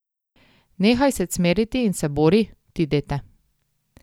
Nehaj se cmeriti in se bori, ti dete.